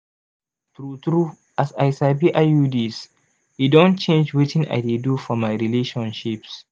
true true as i sabi iuds e don change wetin i dey do for my relationships.